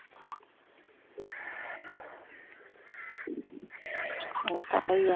ਉਹ ਤਾ